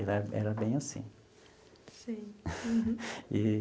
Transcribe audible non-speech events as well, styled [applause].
Ele era era bem assim. Sei. [laughs]